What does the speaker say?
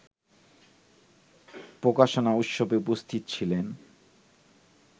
প্রকাশনা উৎসবে উপস্থিত ছিলেন